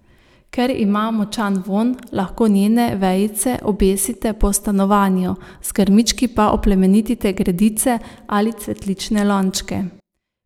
Ker ima močan vonj, lahko njene vejice obesite po stanovanju, z grmički pa oplemenitite gredice ali cvetlične lončke.